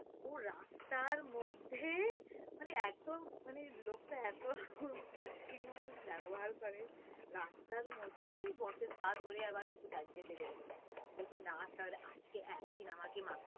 ও রাস্তার মধ্যে মানে এতো মানে লোকটা এতো বিচ্ছিরি মতো ব্যাবহার করে রাস্তার মধ্যেই boss এর পা ধরে বলছে না sir আজকে একদিন আমাকে